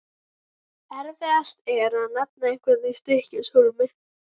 Erfiðast er að nefna einhverja í Stykkishólmi.